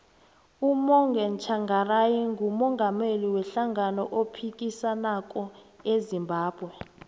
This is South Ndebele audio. umorgan tshangari ngumungameli we hlangano ephikisako ezimbabwe